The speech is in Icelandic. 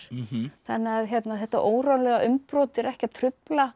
þannig að þetta órólega umbrot er ekki að trufla